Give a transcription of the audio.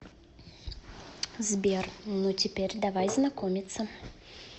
сбер ну теперь давай знакомиться